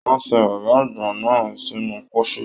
Wọn sìn bàbá àgbà náà sínú pósí.